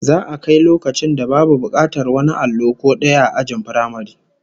Za'a kai loakcin da babu bukatar wani allo ko daya ajin firamare